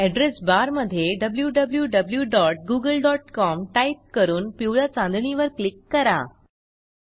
address बारमधे wwwgooglecom type करून पिवळ्या चांदणीवर क्लिक करा